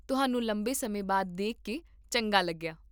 ਤੁਹਾਨੂੰ ਲੰਬੇ ਸਮੇਂ ਬਾਅਦ ਦੇਖ ਕੇ ਚੰਗਾ ਲੱਗਿਆ